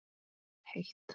Og heitt.